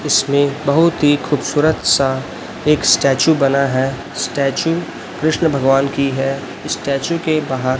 इसमें बहुत ही खूबसूरत सा एक स्टेचू बना है स्टैचू कृष्ण भगवान की है स्टैचू के बाहर--